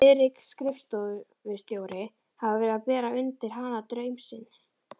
Friðrik skrifstofustjóri hafði verið að bera undir hana draum sinn.